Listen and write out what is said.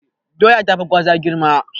Doya tafi Gwaza girma.